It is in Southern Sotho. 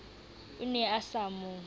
o ne a sa mo